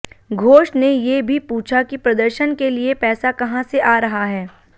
घोष ने ये भी पूछा कि प्रदर्शन के लिए पैसा कहां से आ रहा है